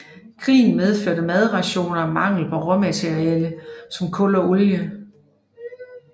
Krigen medførte madrationeringer og mangel på råmaterialer som kul og olie